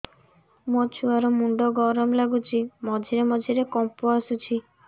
ମୋ ଛୁଆ ର ମୁଣ୍ଡ ଗରମ ଲାଗୁଚି ମଝିରେ ମଝିରେ କମ୍ପ ଆସୁଛି